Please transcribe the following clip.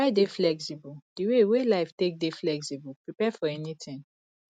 try dey flexible di wey wey life take dey flexible prepare for anything